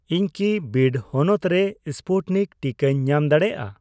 ᱤᱧ ᱠᱤ ᱵᱤᱰ ᱦᱚᱱᱚᱛ ᱨᱮ ᱥᱯᱩᱴᱱᱤᱠ ᱴᱤᱠᱟᱹᱧ ᱧᱟᱢ ᱫᱟᱲᱮᱭᱟᱜᱼᱟ ?